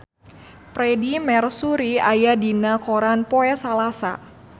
Freedie Mercury aya dina koran poe Salasa